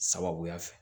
Sababuya fɛ